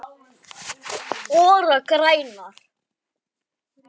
Þetta er langt í burtu.